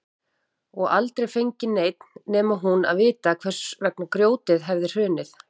Og aldrei fengi neinn nema hún að vita hvers vegna grjótið hefði hrunið.